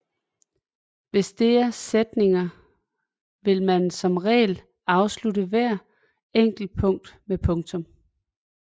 Hvis det er sætninger vil man som regel afslutte hvert enkelt punkt med punktum